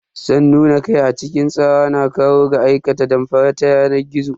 San nuna kai a cikin tsara na kai ga aikata damfara ta yanar gizo.